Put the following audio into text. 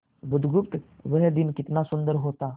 बुधगुप्त वह दिन कितना सुंदर होता